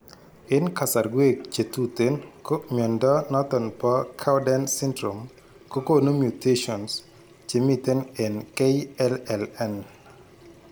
En kasarwek chetuten ko mnyondo noton nebo Cowden syndrome kogonu mutations chemiten en KLLN